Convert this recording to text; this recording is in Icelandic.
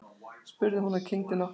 spurði hún og kyngdi nokkrum sinnum.